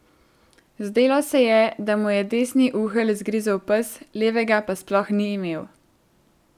Zdelo se je, da mu je desni uhelj zgrizel pes, levega pa sploh ni imel.